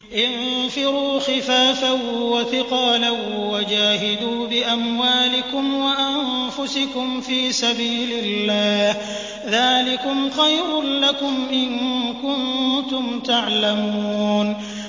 انفِرُوا خِفَافًا وَثِقَالًا وَجَاهِدُوا بِأَمْوَالِكُمْ وَأَنفُسِكُمْ فِي سَبِيلِ اللَّهِ ۚ ذَٰلِكُمْ خَيْرٌ لَّكُمْ إِن كُنتُمْ تَعْلَمُونَ